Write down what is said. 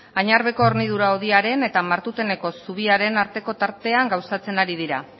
añarbeko hornidura hodiaren eta martuteneko zubiaren arteko tartean gauzatzen ari dira